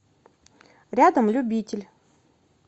рядом любитель